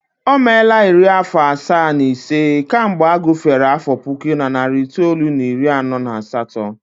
O meela iri afọ asaa na ise kemgbe a gufere afọ puku na narị itoolu na iri anọ na asatọ